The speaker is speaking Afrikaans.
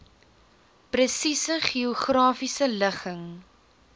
presiese geografiese ligging